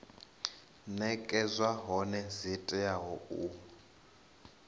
nekedzwa hone dzi tea u